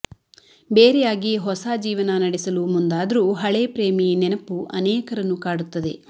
ಬೇರೆಯಾಗಿ ಹೊಸ ಜೀವನ ನಡೆಸಲು ಮುಂದಾದ್ರೂ ಹಳೆ ಪ್ರೇಮಿ ನೆನಪು ಅನೇಕರನ್ನು ಕಾಡುತ್ತದೆ